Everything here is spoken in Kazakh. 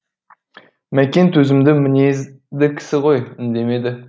мәкең төзімді мінезді кісі ғой үндемеді